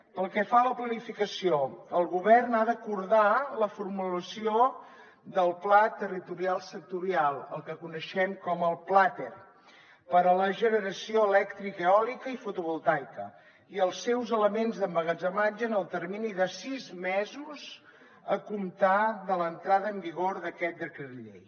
pel que fa a la planificació el govern ha d’acordar la formulació del pla territorial sectorial el que coneixem com el plater per a la generació elèctrica eòlica i fotovoltaica i els seus elements d’emmagatzematge en el termini de sis mesos a comptar de l’entrada en vigor d’aquest decret llei